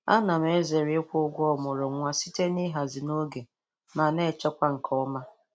A na m ezere ịkwụ ụgwọ ọmụrụ nwa site n'ihazi n'oge ma na-echekwa nke ọma